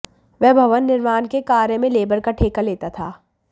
वह भवन निर्माण के कार्य में लेबर का ठेका लेता था